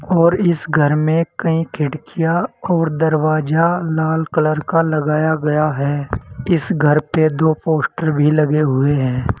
और इस घर में कहीं खिड़कियां और दरवाजा लाल कलर का लगाया गया है इस घर पे दो पोस्टर भी लगे हुए हैं।